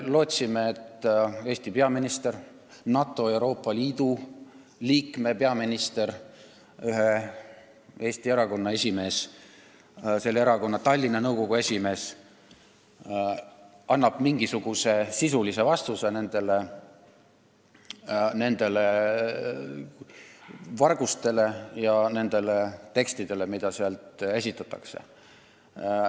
Me lootsime, et Eesti peaminister, NATO ja Euroopa Liidu liikme peaminister, ühe Eesti erakonna esimees ja selle erakonna Tallinna nõukogu esimees annab mingisuguse sisulise vastuse nende varguste ja nende tekstide kohta, mida seal PBK-s esitatakse.